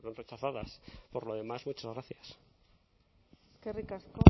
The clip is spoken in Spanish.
rechazadas por lo demás muchas gracias eskerrik asko